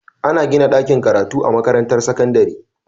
Ana gina dakin karatu a makarantar sakandari